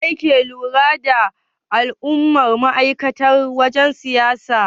Waye yake lura da al'amuran ma'aikatan wajen siyayya?